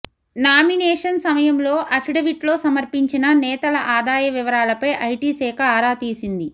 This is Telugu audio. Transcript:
నామినేషన్ సమయంలో అఫడవిట్లో సమర్పించిన నేతల ఆదాయ వివరాలపై ఐటీ శాఖ ఆరాతీసింది